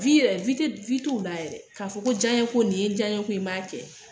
yɛrɛ t'u la yɛrɛ. Ka fɔ ko jaɲe ko nin ye jaɲe ko ye